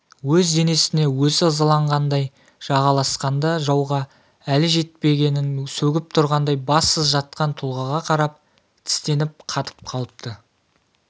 өз денесіне өзі ызаланғандай жағаласқанда жауға әлі жетпегенін сөгіп тұрғандай бассыз жатқан тұлғаға қарап тістеніп қатып қалыпты